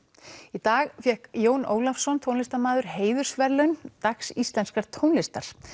í dag fékk Jón Ólafsson tónlistarmaður heiðursverðlaun dags íslenskrar tónlistar